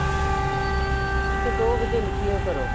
ਅੱਛਾ ਦੋ ਵਜੇ ਨਿਕਲੇ ਓ ਘਰੋ